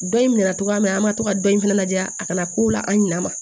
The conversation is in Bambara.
Dɔ in minɛ cogoya min na an ma to ka dɔ in fɛnɛ ladiya a kana ko la an ɲinɛ ma